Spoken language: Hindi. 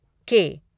के